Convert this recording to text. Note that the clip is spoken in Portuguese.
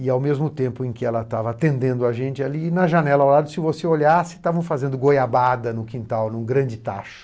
E ao mesmo tempo em que ela estava atendendo a gente, ali na janela ao lado, se você olhasse, estavam fazendo goiabada no quintal, em um grande tacho.